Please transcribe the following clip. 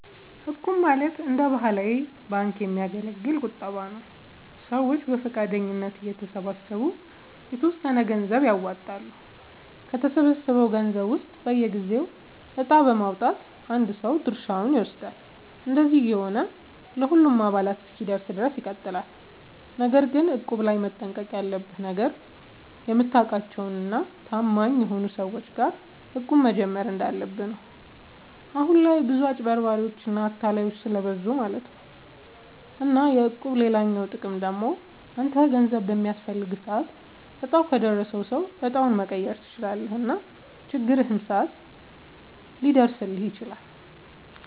እቁብ ማለት እንደ ባህላዊ ባንክ የሚያገለግል ቁጠባ ነዉ። ሰዎች በፈቃደኝነት እየተሰባሰቡ የተወሰነ ገንዘብ ያዋጣሉ፣ ከተሰበሰበው ገንዘብ ውስጥ በየጊዜው እጣ በማዉጣት አንድ ሰው ድርሻውን ይወስዳል። እንደዚህ እየሆነ ለሁሉም አባላት እስኪደርስ ድረስ ይቀጥላል። ነገር ግን እቁብ ላይ መጠንቀቅ ያለብህ ነገር፣ የምታውቃቸው እና ታማኝ ሰዎች ጋር እቁብ መጀመር እንዳለብህ ነው። አሁን ላይ ብዙ አጭበርባሪዎች እና አታላዮች ስለብዙ ማለት ነው። እና የእቁብ ሌላኛው ጥቅም ደግሞ አንተ ገንዘብ በሚያስፈልግህ ሰዓት እጣው ከደረሰው ሰው እጣውን መቀየር ትችላለህ እና በችግርህም ሰዓት ሊደርስልህ ይችላል።